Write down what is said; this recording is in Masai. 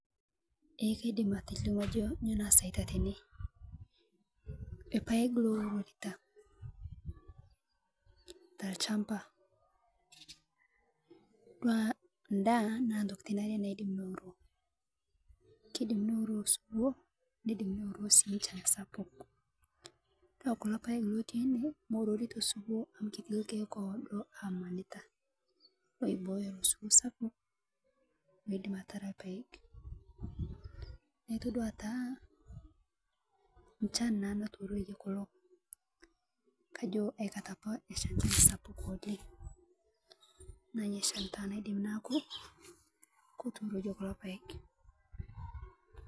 Eeh kaidiim atilimu ajoo nyoo nasaii tene, lpaek lounota ta lchambaa dua ndaa naa ntokitin aare naidiim nouroo. Keidiim neuroo suwoo neidiim neuroo sii nchaan sapuk. Kaa kuloo ilpaek lotii ene meuorutoo suwoo amu ketii ilkiek owodo amanitaa oibooyo suwoo sapuk meidiim ataraa lpaek. Naa itodua taa nchaan naa naituuroie kuloo ajoo aii kaata apaa nashaa nchaan sapuk oleng. Nainyeshan taa naa keidiim natuurokie kuloo lpaek.